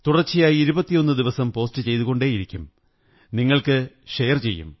തുടര്ച്ച യായി 21 ദിവസം പോസ്റ്റ് ചെയ്തുകൊണ്ടേയിരിക്കും നിങ്ങള്ക്ക്ര ഷെയർ ചെയ്യും